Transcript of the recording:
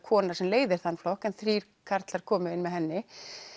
kona sem leiðir flokkinn en þrír karlar komu inn með henni